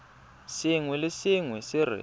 sengwe le sengwe se re